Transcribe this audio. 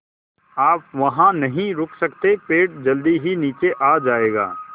आप वहाँ नहीं रुक सकते पेड़ जल्दी ही नीचे आ जाएगा